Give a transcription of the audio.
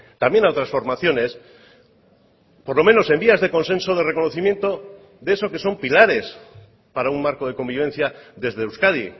también a otras formaciones por lo menos en vías de consenso de reconocimiento de eso que son pilares para un marco de convivencia desde euskadi